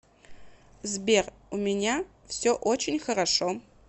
сбер у меня все очень хорошо